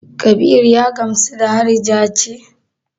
Kabiru ya gamsu da harija ce?